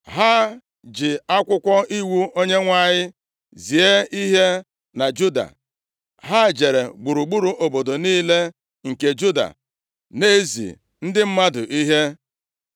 Ha ji akwụkwọ iwu Onyenwe anyị, zie ihe na Juda. Ha jere gburugburu obodo niile nke Juda na-ezi ndị mmadụ ihe.